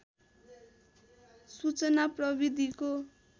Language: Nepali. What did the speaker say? सूचना प्रविधिको